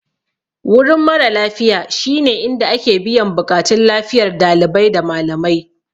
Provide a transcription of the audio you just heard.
Wurin mara lafiya shine inda ake biyan buƙatun lafiyar dalibai da malamai.